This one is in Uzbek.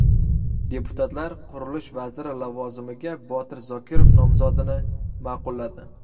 Deputatlar Qurilish vaziri lavozimiga Botir Zokirov nomzodini ma’qulladi.